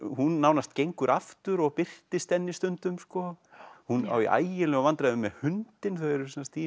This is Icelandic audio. hún nánast gengur aftur og birtist henni stundum hún á í ægilegum vandræðum með hundinn þau eru sem sagt í